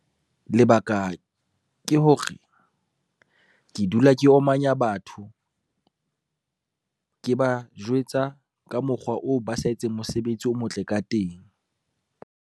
Lebaka ke hore, ke dula ke omanya batho, ke ba jwetsa ka mokgwa oo ba sa etseng mosebetsi o motle ka teng.